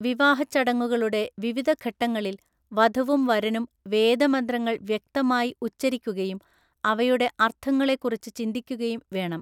വിവാഹച്ചടങ്ങുകളുടെ വിവിധഘട്ടങ്ങളിൽ വധുവും വരനും വേദമന്ത്രങ്ങൾ വ്യക്തമായി ഉച്ചരിക്കുകയും അവയുടെ അർത്ഥങ്ങളെക്കുറിച്ച് ചിന്തിക്കുകയും വേണം.